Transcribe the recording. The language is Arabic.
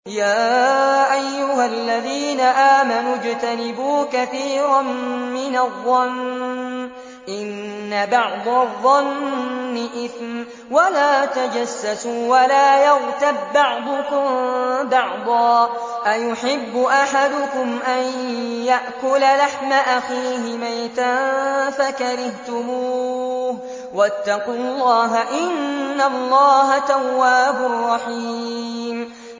يَا أَيُّهَا الَّذِينَ آمَنُوا اجْتَنِبُوا كَثِيرًا مِّنَ الظَّنِّ إِنَّ بَعْضَ الظَّنِّ إِثْمٌ ۖ وَلَا تَجَسَّسُوا وَلَا يَغْتَب بَّعْضُكُم بَعْضًا ۚ أَيُحِبُّ أَحَدُكُمْ أَن يَأْكُلَ لَحْمَ أَخِيهِ مَيْتًا فَكَرِهْتُمُوهُ ۚ وَاتَّقُوا اللَّهَ ۚ إِنَّ اللَّهَ تَوَّابٌ رَّحِيمٌ